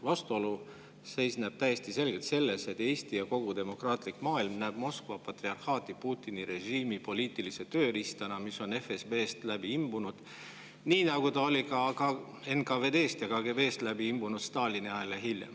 Vastuolu seisneb täiesti selgelt selles, et Eesti ja kogu demokraatlik maailm näeb Moskva patriarhaati Putini režiimi poliitilise tööriistana, mis on FSB-st läbi imbunud, nii nagu ta oli NKVD-st ja KGB-st läbi imbunud Stalini ajal ja hiljem.